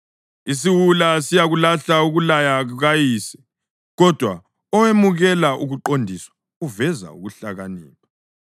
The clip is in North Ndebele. Isiwula siyakulahla ukulaya kukayise, kodwa owemukela ukuqondiswa uveza ukuhlakanipha.